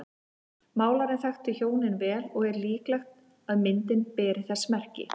Málarinn þekkti hjónin vel og er líklegt að myndin beri þess merki.